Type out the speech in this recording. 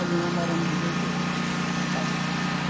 Ali nós moramos dezoito anos, sabe?